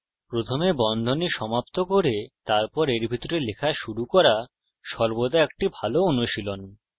প্রথমে বন্ধনী সমাপ্ত করে তারপর এর ভিতরে লেখা শুরু করা সর্বদা একটি ভাল অনুশীলন